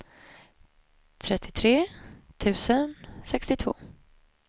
trettiotre tusen sextiotvå